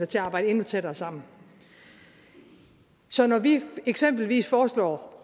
til at arbejde endnu tættere sammen så når vi eksempelvis foreslår